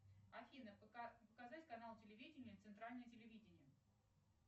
афина показать канал телевидения центральное телевидение